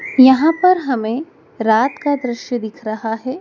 यहां पर हमें रात का दृश्य दिख रहा है।